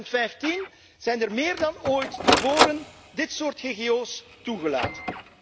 Unie. In 2015 zijn er meer dan ooit tevoren dit soort GGO's toegelaten.